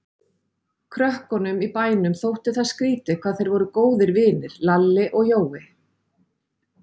Krökkunum í bænum þótti það skrýtið hvað þeir voru góðir vinir, Lalli og Jói.